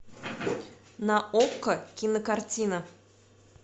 на окко кинокартина